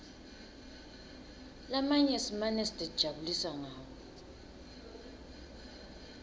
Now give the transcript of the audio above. lamanye simane sitijabulisa ngawo